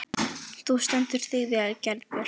Þú stendur þig vel, Geirbjörg!